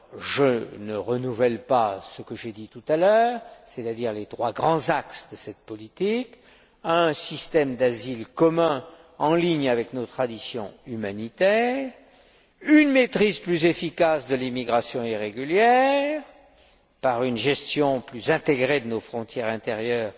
Je ne renouvelle pas ce que j'ai dit tout à l'heure, c'est à dire les trois grands axes de cette politique, un système d'asile commun en ligne avec nos traditions humanitaires, une maîtrise plus efficace de l'immigration irrégulière par une gestion plus intégrée de nos frontières intérieures,